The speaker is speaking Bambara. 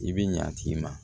I bɛ ɲa a tigi ma